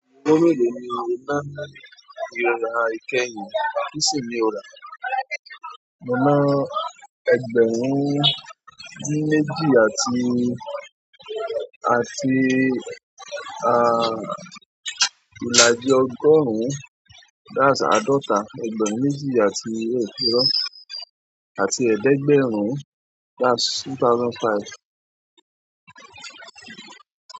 Owó mélòó ni o ná láti ra ìkẹyìn? Kí sì ní o rà? Mo ná ẹgbẹ̀rún dín méjì àti, àti, à, ìlàjì ọgọ́rùn-ún, that's àádọ́ta ẹgbẹ̀rún méjì àti ègún fírọ́, àti ẹ̀ẹ́dẹ́gbẹ̀rún, that's two thousand five.